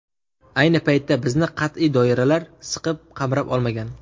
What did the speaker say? Ayni paytda bizni qat’iy doiralar siqib, qamrab olmagan.